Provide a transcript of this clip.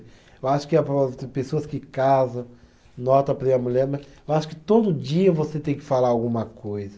Eu acho que pessoas que casam, nota a mulher, mas eu acho que todo dia você tem que falar alguma coisa.